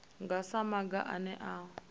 nga sa maga ane a